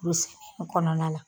Lu se kɔnɔna la